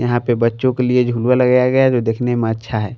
यहां पे बच्चों के लिए झुलुवा लगाया गया है जो देखने में अच्छा है।